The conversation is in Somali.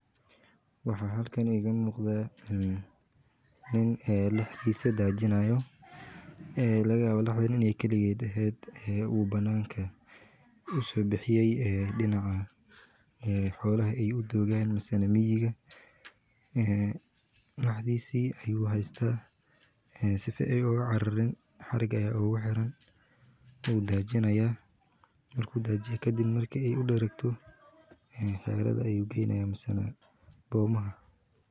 Waxa halkan igana muqda nin ee laxdiisa daajinaayo, ee laga yaba laxdin inay keliyay taaheed u bannaanka. Usii bixiyay dhinaca hawlaha ay u duugaan mas'anamiijiga, laxdhiisii ay u haysta sifay uga cararin haragaya ugu xiran uu daajinayaa markuu daajiye. Ka dib markii ay u dheregto heerada ay u geeynaayeen masanaad boomaha.